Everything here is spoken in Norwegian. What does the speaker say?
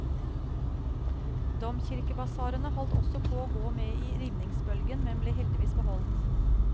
Domkirkebasarene holdt også på å gå med i rivningsbølgen, men ble heldigvis beholdt.